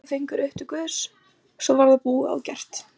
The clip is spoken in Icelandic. Tíu fingur upp til Guðs svo var það búið og gert.